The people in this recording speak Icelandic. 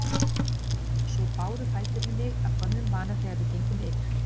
Svo báru fæturnir mig af gömlum vana þegar við gengum yfir